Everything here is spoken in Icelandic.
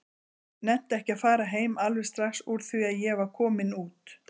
Nennti ekki að fara heim alveg strax úr því að ég var kominn út.